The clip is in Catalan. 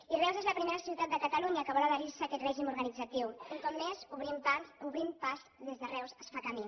i reus és la primera ciutat de catalunya que vol adherir se a aquest règim organitzatiu un cop més obrim pas des de reus es fa camí